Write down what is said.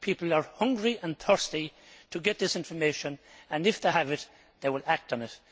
People are hungry and thirsty to get this information and, if they have it, they will act on it.